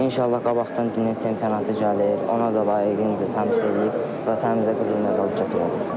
İnşallah qabaqdan dünya çempionatı gəlir, ona da layiqincə təmsil eləyib vətənimizə qızıl medal gətirərəm.